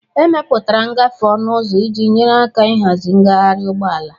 Emepụtara ngafe ọnụ ụzọ iji nyere aka ịhazi ngaharị ụgbọala.